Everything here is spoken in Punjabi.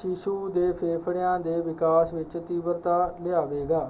ਸ਼ੀਸ਼ੂ ਦੇ ਫੇਫੜਿਆਂ ਦੇ ਵਿਕਾਸ ਵਿੱਚ ਤੀਬਰਤਾ ਲਿਆਵੇਗਾ।